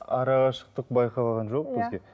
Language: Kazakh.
арақашықтық байқалған жоқ бізге